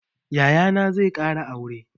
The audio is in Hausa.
Yayana zai ƙara aure.